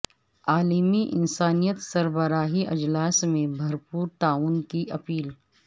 عالمی انسانیت سربراہی اجلاس میں بھر پور تعاون کی اپیل